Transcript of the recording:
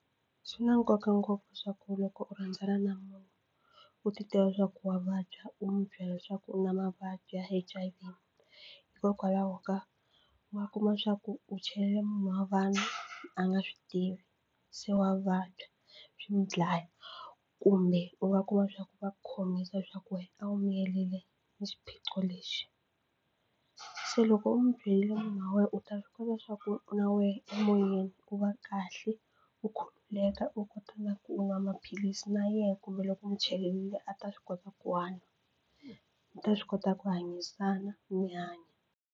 Swi na nkoka ngopfu swa ku loko u rhandzana na munhu u titiva leswaku wa vabya u n'wi byela leswaku u na mavabyi ya H_I_V hikokwalaho ka ma kuma swa ku u chele munhu wa vanhu a nga swi tivi se wa vabya swi mu dlaya kumbe u nga kuma swa ku va khomisa leswaku wena a wu miyerile ni xiphiqo lexi. Se loko u n'wi byerile munhu wa wena u ta swi kota swa ku na wehe emoyeni u va kahle u khululeka u kota na ku nwa maphilisi na yena kumbe loko u mu chelelile a ta swi kota ku hanya ta swi kota ku hanyisana mi hanya.